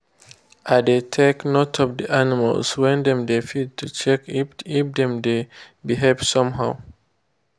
i dey take note of the animals when dem dey feed to check if dem dey behave somehow.